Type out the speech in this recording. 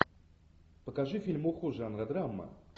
покажи фильмуху жанра драма